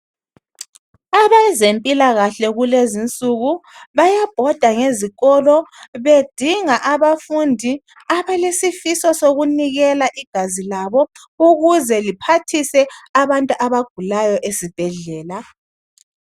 Abezemphilakahle kulezi insuku, bayabhoda lezikolo, bedinga abafundi abelesifiso sokunikela igazi layo ukuze liphathise abantu abagulayo ezibhadlela.